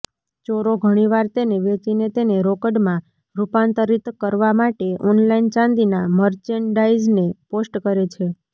ચોરો ઘણીવાર તેને વેચીને તેને રોકડમાં રૂપાંતરિત કરવા માટે ઓનલાઇન ચાંદીના મર્ચેન્ડાઇઝને પોસ્ટ કરે છે